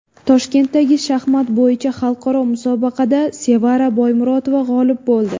Toshkentdagi shaxmat bo‘yicha xalqaro musobaqada Sevara Boymurotova g‘olib bo‘ldi.